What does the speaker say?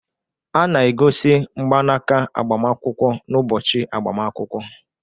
A na-egosi mgbanaka agbamakwụkwọ n'ụbọchị agbamakwụkwọ